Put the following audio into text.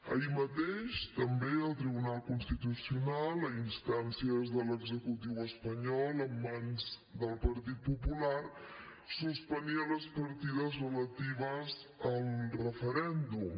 ahir mateix també el tribunal constitucional a instàncies de l’executiu espanyol en mans del partit popular suspenia les partides relatives al referèndum